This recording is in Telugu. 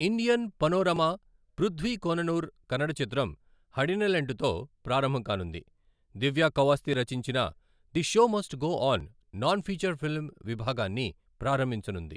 ఇండియన్ పనోరమా పృధ్వీ కోననూర్ కన్నడ చిత్రం హడినెలెంటుతో ప్రారంభం కానుంది, దివ్య కౌవాస్జీ రచించిన the show must go on non feature film విభాగాన్ని ప్రారంభించనుంది.